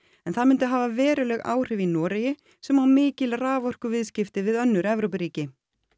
en það myndi hafa veruleg áhrif í Noregi sem á mikil raforkuviðskipti við önnur Evrópuríki